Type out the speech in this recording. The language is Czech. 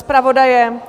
Zpravodaje?